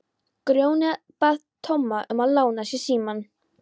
Grjóni bað Tomma um að lána sér símann.